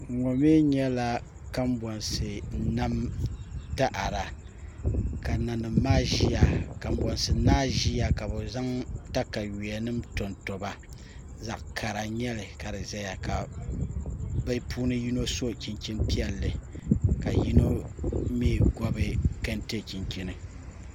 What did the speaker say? ŋo maa nyɛla kombonsi nam taada ka nanima maa ʒiya kanbonsi naa ʒiya ka bi zaŋ katawiya nim to n toba zaɣ kara n nyɛli ka di ʒiya ka bi puuni yino so chinchin piɛlli ka yino mii gobi kɛntɛ chinchini